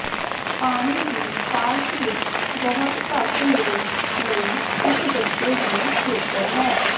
ਪਾਣੀ ਦੀ ਪਾਰਕ ਵਿਚ ਬਹੁਤ ਘੱਟ ਲੋਕ ਲਈ ਇਕ ਬੱਚੇ ਦੀ ਖੇਤਰ ਹੈ